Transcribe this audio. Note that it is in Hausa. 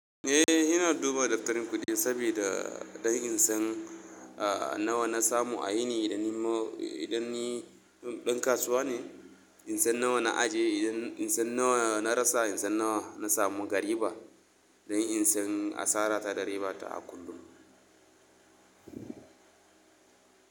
Eh, ina duba daftarin kuɗi saboda don in san nawa na samu a yini idan idan ni ɗan kasuwa ne, in san nawa na ajiye, in san nawa na rasa, in san nawa na samu, ga riba don in san asara ta da ribata a kullum.